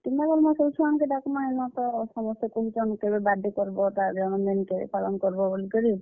କେନ୍ତା କର୍ ମା ସବୁ ଛୁଆ ମାନ୍ କେ ଡାକ୍ ମା, ଇନତ ସମସ୍ତେ କହୁଛନ୍ କେଭେ birthday କର୍ ବ ତାର୍ ଜନମ୍ ଦିନ୍ କେଭେ ପାଲନ୍ କର୍ ବ ବଲିକରି।